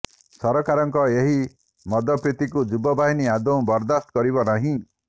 ସରକାରଙ୍କର ଏହି ମଦପ୍ରୀତିକୁ ଯୁବବାହିନୀ ଆଦୌ ବରଦାସ୍ତ କରିବ ନାହିଁ